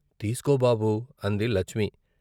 తీసుకో బాబూ అంది లచ్మీ.